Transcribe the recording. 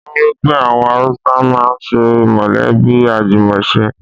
Wọ́n wípé àwọn Haúsá ń máa ń ṣe mọ̀lẹ́bí àjùmọ̀ ṣe.